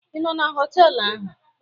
Ị nọ na họtelụ ahụ?